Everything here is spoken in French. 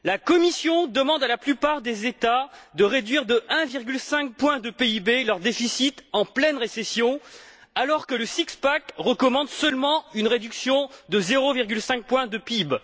Celle ci demande à la plupart des États de réduire de 1,5 point de PIB leur déficit en pleine récession, alors que le six pack recommande seulement une réduction de 0,5 point de PIB.